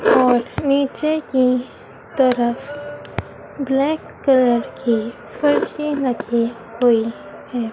और नीचे की तरफ ब्लैक कलर की फर्शें रखी हुई हैं।